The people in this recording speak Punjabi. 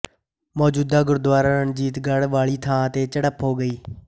ਮੌਜੂਦਾ ਗੁਰਦੁਆਰਾ ਰਣਜੀਤਗੜ੍ਹ ਵਾਲੀ ਥਾਂ ਤੇ ਝੜਪ ਹੋ ਗਈ